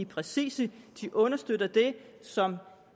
præcise de understøtter det som